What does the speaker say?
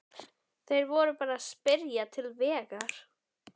Þeir voru bara að spyrja til vegar.